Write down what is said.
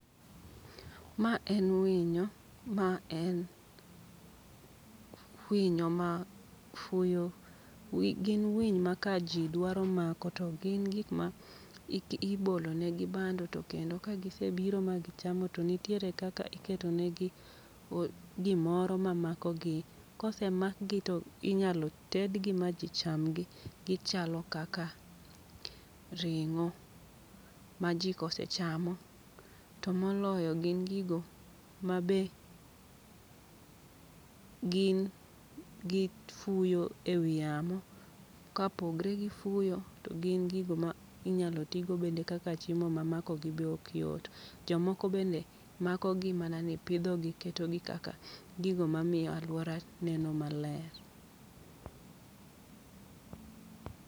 Ma en winyo ma en winyo ma fuyo, wi gin winy ma ka ji dwaro mako to gin gik ma ike ibolo negi bando. To kendo kagisebiro ma gichamo to nitiere kaka iketonegi gimoro ma makogi. Kose makgi to inyalo tedgi ma ji chamgi, gichalo kaka ring'o ma ji kose chamo. To moloyo gin gigo ma be gin gi fuyo e wi yamo. Kapogre gi fuyo, to gin gigo ma inyalo tigo bende kaka chiemo ma makogi ok yot. Jomoko bende makogi mana ni pidho gi, ketogi kaka gigo mamiyo alwora neno maler.